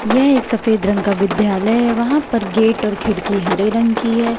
यह एक सफेद रंग का विद्यालय है वहां पर गेट और खिड़की हरे रंग की है।